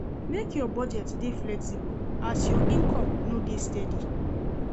Make your budget dey flexible as you income no dey steady.